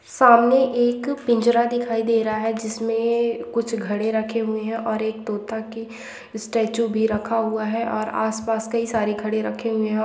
सामने एक पिंजरा दिखाई दे रहा है जिसमे कुछ घड़े रखे हुए है और एक तोता के स्टेच्यू भी रखा हुआ है और आस पास कई सारे घड़े रखे हुए है।